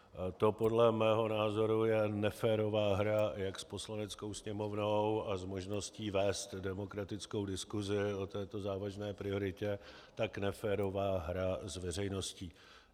To, podle mého názoru, je neférová hra jak s Poslaneckou sněmovnou a s možností vést demokratickou diskuzi o této závažné prioritě, tak neférová hra s veřejností.